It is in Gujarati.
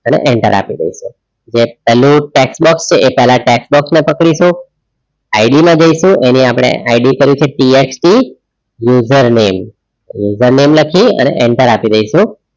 અને enter આપી દઇશું. પહેલું text box છે પહેલાં text box ને પકડીશું ID માં જઈશું ID કરી છે text username લખી અને enter આપી દઇશું.